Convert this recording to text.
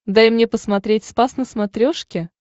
дай мне посмотреть спас на смотрешке